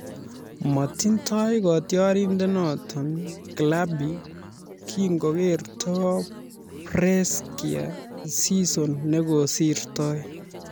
Matindoi kotiorindenito klabi kingorekto Brescia season nekosirtoi